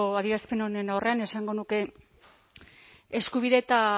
adierazpen honen aurrean esango nuke eskubide eta